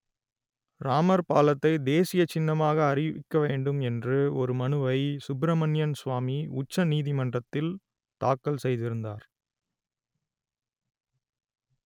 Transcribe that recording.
ராமர் பாலத்தை தேசிய சின்னமாக அறிவிக்க வேண்டும் என்று ஒரு மனுவை சுப்பிரமணியன் சுவாமி உச்ச நீதிமன்றத்தில் தாக்கல் செய்திருந்தார்